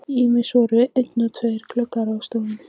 Ýmist voru einir eða tvennir gluggar á stofunni.